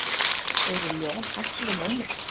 Eru ljón hættuleg mönnum?